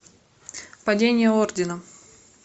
падение ордена